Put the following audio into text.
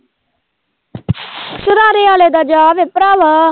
ਸਰਾਰੇ ਵਾਲੇ ਦਾ ਜਾ ਵੇ ਭਾਰਾਵਾ।